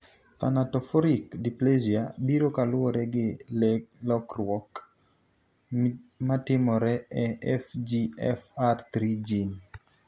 thanatophoric dysplasia biro kaluwore gi lokeruok mtimore e FGFR3 gene.